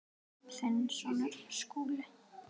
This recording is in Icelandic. Þinn sonur, Skúli.